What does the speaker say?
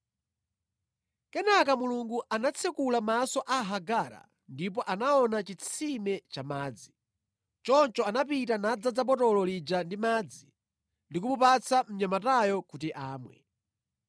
Kenaka Mulungu anatsekula maso a Hagara ndipo anaona chitsime cha madzi. Choncho anapita nadzaza botolo lija ndi madzi ndi kumupatsa mnyamatayo kuti amwe.